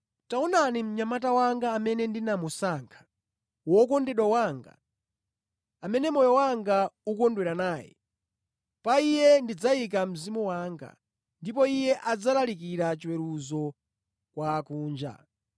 “Taonani mnyamata wanga amene ndinamusankha, Wokondedwa wanga, amene moyo wanga ukondwera naye. Pa Iye ndidzayika Mzimu wanga, ndipo Iye adzalalikira chiweruzo kwa akunja.